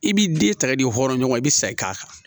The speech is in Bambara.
I b'i den ta i de hɔrɔn ɲɔgɔn i be sa i k'a kan